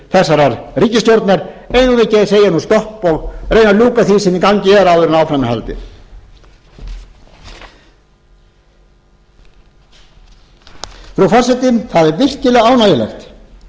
við ekki að segja nú stopp og reyna að ljúka því sem í gangi er áður en áfram er haldið frú forseti það er virkilega ánægjulegt að fólk geri sér æ